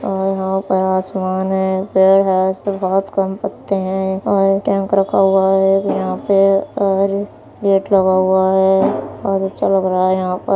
और यहाँ पर आसमान है। पेड़ है। इसमें बहुत कम पत्ते है और टेंक रखा हुआ है यहाँ पे और गेट लगा हुआ है। बहुत अच्छा लग रहा है यहाँ पर।